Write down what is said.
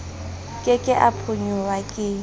ke ke a phonyoha ke